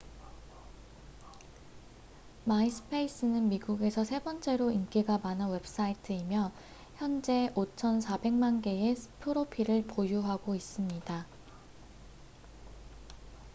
마이스페이스는 미국에서 세 번째로 인기가 많은 웹사이트이며 현재 5천4백만 개의 프로필을 보유하고 있습니다